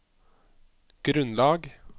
grunnlag